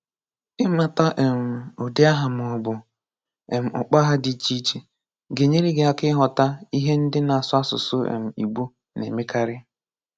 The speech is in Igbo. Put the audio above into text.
Ị mata um ụdị Aha maọbụ um Mkpọaha dị iche iche ga-enyere gị aka ịghọta ihe ndị na-asụ asụsụ um Igbo na-emekarị